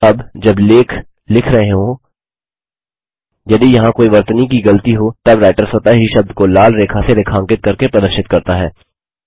अब जब लेख लिख रहे हों यदि यहाँ कोई वर्तनी की गलती हो तब राइटर स्वतः ही शब्द को लाल रेखा से रेखांकित करके प्रदर्शित करता है